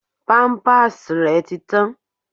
Pampers rẹ ti tán.